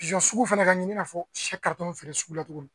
sugu fɛnɛ ka ɲi i n'a fɔ feere sugu la tugun